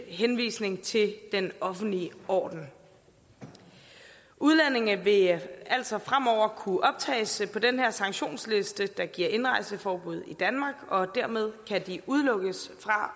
henvisning til den offentlige orden udlændinge vil altså fremover kunne optages på den her sanktionsliste der giver indrejseforbud i danmark og dermed kan de udelukkes fra